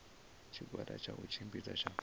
tshigwada tsha u tshimbidza tsha